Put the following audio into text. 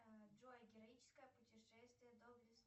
джой героическое путешествие